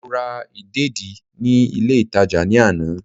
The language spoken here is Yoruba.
Mo ra ìdèdí ní ilé ìtàjà ní àná